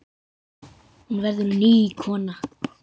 Hún verður ný kona.